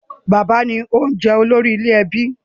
Bàbá ni ó jẹ̀ olórí ilé/ẹbí